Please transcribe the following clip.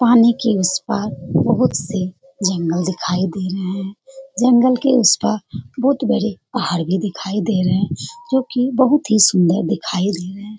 पानी की इस पार बोहोत सी जंगल दिखाई दे रहे हैं। जंगल के उस पार बोहोत बड़े पहाड़ भी दिखाई दे रहे हैं जो कि बोहोत ही सुंदर दिखाई दे रहे हैं।